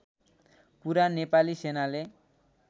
कुरा नेपाली सेनाले